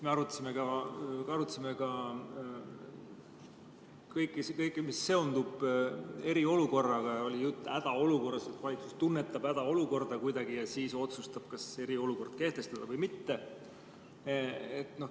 Me arutasime kõike, mis seondub eriolukorraga, ja oli jutt hädaolukorrast, et valitsus tunnetab kuidagi hädaolukorda ja siis otsustab, kas eriolukord kehtestada või mitte.